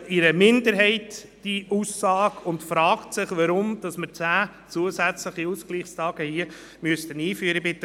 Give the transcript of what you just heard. Unsere Meinung: Vertrauensarbeitszeit: Ja; Personenkreis: wie von der Regierung vorgeschlagen oder ein bisschen grösser;